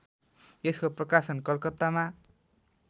यसको प्रकाशन कलकत्तामा